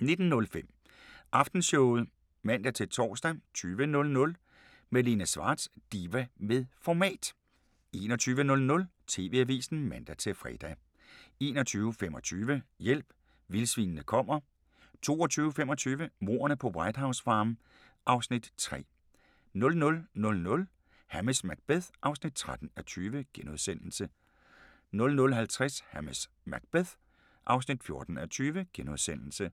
19:05: Aftenshowet (man-tor) 20:00: Malene Schwartz – diva med format 21:00: TV-avisen (man-fre) 21:25: Hjælp, vildsvinene kommer 22:25: Mordene på White House Farm (Afs. 3) 00:00: Hamish Macbeth (13:20)* 00:50: Hamish Macbeth (14:20)*